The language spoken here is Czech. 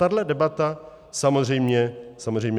Tahle debata samozřejmě smysl má.